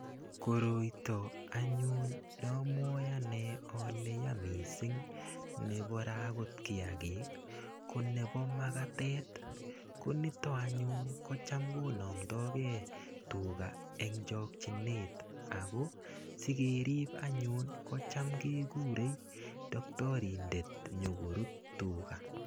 Koroita anyun namwae ane ale yaa mising neporei akot kiagik, ko nebo makatet. Konitok anyun kocham konamtagei tuga eng chokchinet ako sikerip anyun kocham kegurei taktorindet nyokorut tuga.